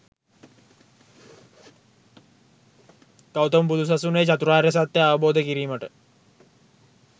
ගෞතම බුදු සසුනේ චතුරාර්ය සත්‍යය අවබෝධ කිරීමට